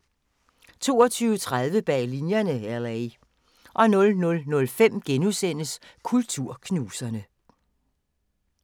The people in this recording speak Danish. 22:30: Bag Linjerne – LA 00:05: Kulturknuserne *